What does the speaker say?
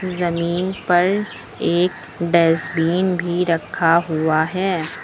जमीन पर एक डस्टबिन भी रखा हुआ है।